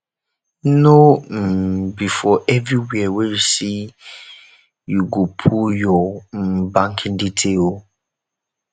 no um be for everywhere wey you see you go put your um banking detail o